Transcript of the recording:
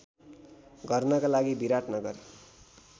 गर्नका लागि विराटनगर